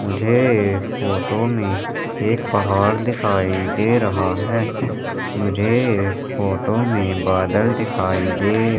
मुझे इस फोटो में एक पहाड़ दिखाई दे रहा है मुझे इस फोटो में बादल दिखाई दे--